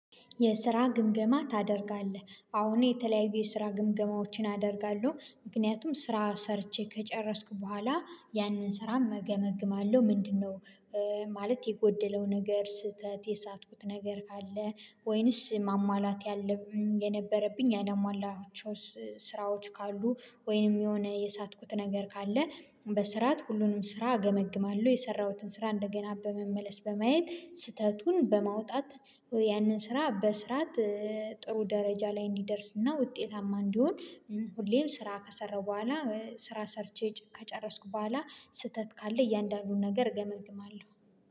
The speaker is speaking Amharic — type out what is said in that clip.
የስራ ግምገማ ታደርጋለህ? አዎ እኔ የተለያዩ የስራ ግምገማዎችን አደርጋለሁ። ምክንያቱም ስራ ሰርቼ ከጨረስኩ በኋላ ያንን ስራም እገመግማለሁ። ምንድነው ማለት የጎደለው ነገር ስህተት የሳትኩት ነገር ካለ ወይንስ ማሟላት ያለብኝ የነበረብኝ ያላሟላኋቸው ስራዎች ካሉ ወይንም የሆነ የሳትኩት ነገር ካለ በስራት ሁሉንም ስራ እገመግማለሁ። የሰራሁትን ስራ እንደገና በመመለስ በማየት ስህተቱን በማውጣት ያንን ስራ በስርዓት ጥሩ ደረጃ ላይ እንዲደርስና ውጤታማ እንዲሆን ሁሌም ስራ ከሰራሁ በኋላ ስራ ሰርቼ ከጨረስኩ በኋላ ስህተት ካለ እያንዳንዱን ነገር እገመግማለሁ።